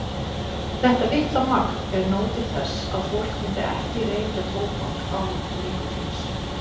Þetta litla magn er nóg til þess að fólk myndi ekki reykja tóbak án nikótíns.